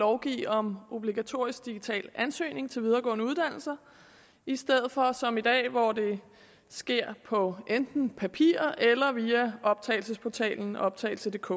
lovgive om obligatorisk digital ansøgning til videregående uddannelser i stedet for som i dag hvor det sker på enten papir eller via optagelsesportalen optagelsedk